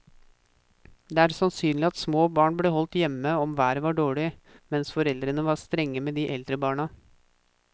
Det er sannsynlig at små barn ble holdt hjemme om været var dårlig, mens foreldrene var strengere med de eldre barna.